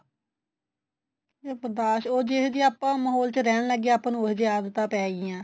ਇਹ ਬਰਦਾਸ਼ ਉਹ ਜਿਹੋ ਜਿਹੇ ਆਪਾਂ ਮਹੋਲ ਚ ਰਹਿਣ ਲੱਗ ਗਏ ਆਪਾਂ ਨੂੰ ਉਹੀ ਜਿਹੀ ਆਦਤਾਂ ਪੈ ਗਈਆਂ